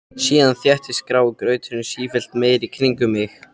Síðan þéttist grái grauturinn sífellt meir í kringum mig.